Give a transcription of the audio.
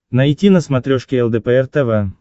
найти на смотрешке лдпр тв